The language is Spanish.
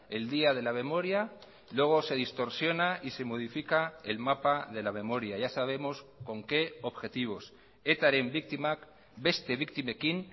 el día de la memoria luego se distorsiona y se modifica el mapa de la memoria ya sabemos con qué objetivos etaren biktimak beste biktimekin